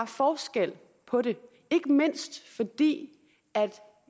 forskel på det ikke mindst fordi